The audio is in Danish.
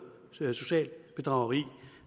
socialt bedrageri